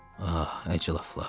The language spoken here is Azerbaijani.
Ah, əclafalar.